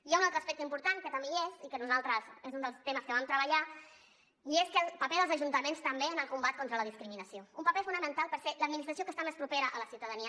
hi ha un altre aspecte important que també hi és i que nosaltres és un dels temes que vam treballar i és el paper dels ajuntaments també en el combat contra la discriminació un paper fonamental perquè és l’administració que és més propera a la ciutadania